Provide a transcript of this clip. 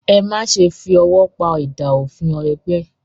Ẹ má ṣe fi ọwọ́ pa idà òfin ẹgbẹ́!